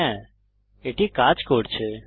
হ্যা এটি কাজ করছে